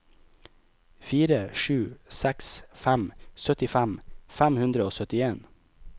fire sju seks fem syttifem fem hundre og syttien